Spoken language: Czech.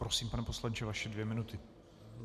Prosím, pane poslanče, vaše dvě minuty.